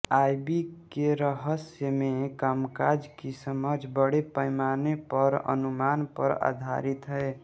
IB के रहस्यमय कामकाज की समझ बड़े पैमाने पर अनुमान पर आधारित है